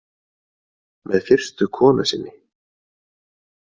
Með fyrstu konu sinni.